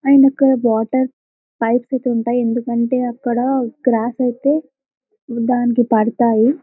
And ఇక్కడ border pipes అయితే ఉంటాయి ఎందుకంటే క్రాస్ అయితే దాని మీద పడుతాయి--.